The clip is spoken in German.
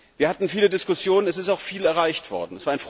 Wir hatten viele Diskussionen, es ist auch viel erreicht worden.